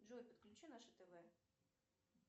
джой подключи наше тв